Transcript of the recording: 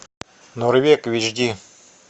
норвег в эйч ди